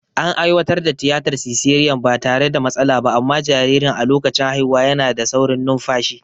An aiwatar da tiyatar siseriyan ba tare da matsala ba, amma jaririn a lokacin haihuwa yana da saurin numfashi.